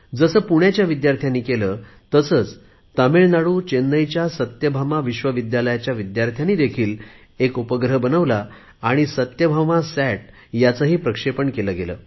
जसे पुण्याच्या विद्यार्थ्यांनी केले तसेच तामिळनाडू चेन्नईच्या सत्यभामा विश्वविद्यालयाच्या विद्यार्थ्यांनी देखील एक उपग्रह बनवला आणि सत्यभामा सॅट याचेही प्रक्षेपण केले गेले